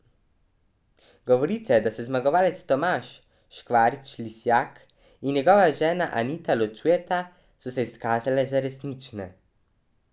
Govorice, da se zmagovalec Tomaž Škvarč Lisjak in njegova žena Anita ločujeta, so se izkazale za resnične.